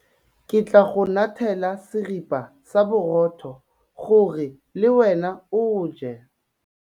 Ke tla go ngathela seripa sa borotho gore le wena o je.